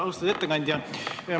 Austatud ettekandja!